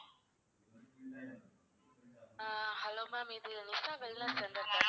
ஆஹ் hello ma'am. இது Usha wellness center தானே?